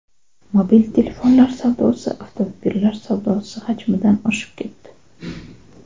Mobil telefonlar savdosi avtomobillar savdosi hajmidan oshib ketdi.